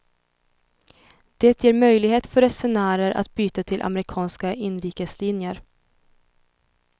Det ger möjlighet för resenärer att byta till amerikanska inrikeslinjer.